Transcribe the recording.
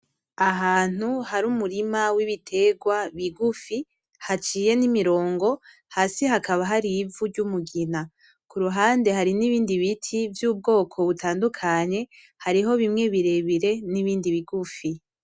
Ahantu hari umurima w’ibitegwa bigufi haciye n’imirongo, hasi hakaba hari ivu ry’umugina. Ku ruhande hari n’ibindi biti vy’ubwoko butandukanye, hariho bimwe birebire n’ibindi bigufi.